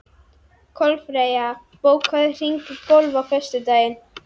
Kolfreyja, bókaðu hring í golf á föstudaginn.